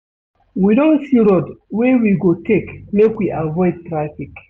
We don see road wey we go take make we avoid traffic.